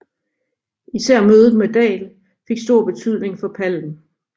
Især mødet med Dahl fik stor betydning for Palm